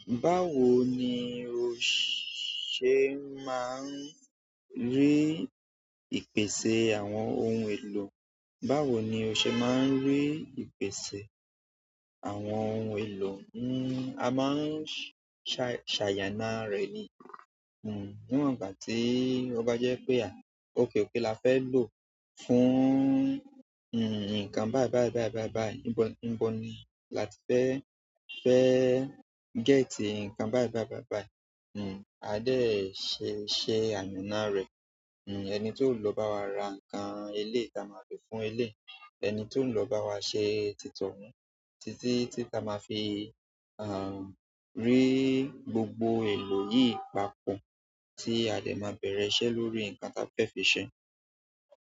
Báwo ni o ṣe máa ń rí ìpèsè àwọn ohun èlò? Báwo ni o ṣe máa ń rí ìpèsè àwọn ohun èlò? A máa ń ṣàyàna rẹ ni, ní wọn ìgbà tí o bá jẹ wí pé òkè òkè là fẹ lọ, fún nǹkan báyìí báyìí báyìí, ní bó ní àti fẹ get nǹkan báyìí báyìí báyìí. Hm, a dẹ̀ ṣe ṣe ànànà rẹ̀. Hm, ẹni tó lọ bá wa ra nǹkan eléyìí, ta máa fí kfún eléyìí. Ẹni tí ó lọ bá wa ṣe tí tòùn, títí tí ta máa fi, à, rí gbogbo èlò yìí papọ̀ tí a dẹ̀ máa bẹ̀rẹ̀ iṣẹ́ lórí nǹkan ta fẹ́ fi ṣe.